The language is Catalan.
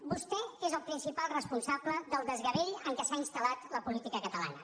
vostè és el principal responsable del desgavell en què s’ha instal·lat la política catalana